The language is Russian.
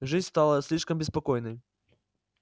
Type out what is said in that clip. жизнь стала слишком беспокойной